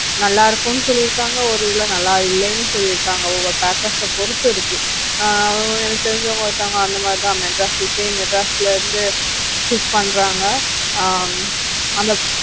நல்லா இருக்குன்னு சொல்லி இருக்காங்க ஒரு இதுல நல்லா இல்லன்னு சொல்லி இருக்காங்க ஒவ்வொரு packers ஆ பொறுத்து இருக்கு, ஆஹ் எனக்கு தெரிஞ்சவங்க ஒருத்தவங்க அந்த மாதிரி தான் மெட்ராஸ் same மெட்ராஸ்ல இருந்து shift பண்றாங்க அஹ்